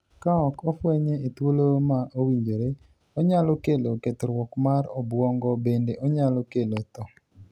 Ka ok ofwenye e thuolo ma owinjore ,onyalo kelo kethruok mar obuong'o bende onyalo kelo thoo.